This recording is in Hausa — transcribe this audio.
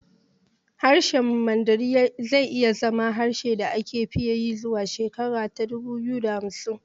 Harshen Mandarin zai iya zama harshen da aka fi yi zuwa shekara ta dubu biyu da hamsin